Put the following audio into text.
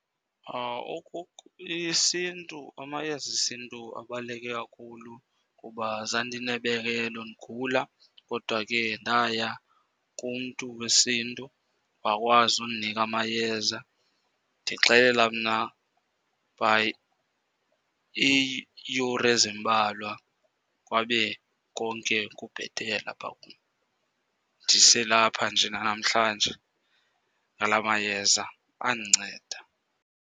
IsiNtu, amayeza esintu abaluleke kakhulu. Kuba zandinebekelo, ndigula kodwa ke ndaya kumntu wesiNtu wakwazi undinika amayeza. Ndixelela mna by iiyure ezimbalwa kwabe konke kubhetele apha kum. Ndiselapha nje nanamhlanje ngalaa mayeza andinceda.